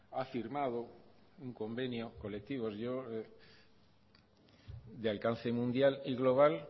ha firmado un convenio colectivo de alcance mundial y global